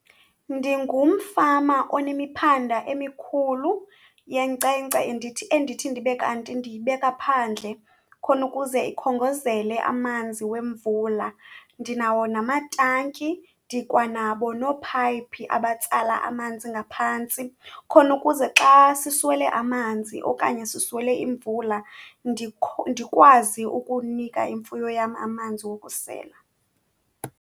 Ndingumfama onemiphanda emikhulu yenkcenkce endithi, endithi ndibe kanti ndiyibeka phandle khona ukuze ikhongozele amanzi wemvula. Ndinawo namatanki, ndikwanabo noophayiphi abatsala amanzi ngaphantsi, khona ukuze xa siswele amanzi okanye siswele imvula ndikwazi ukunika imfuyo yam amanzi wokusela.